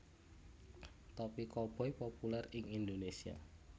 Topi Koboi populèr ing Indonesia